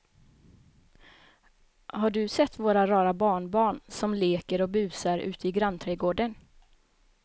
Har du sett våra rara barnbarn som leker och busar ute i grannträdgården!